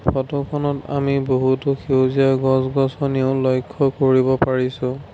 ফটোখনত আমি বহুতো সেউজীয়া গছ-গছনিও লক্ষ্য কৰিব পাৰিছোঁ।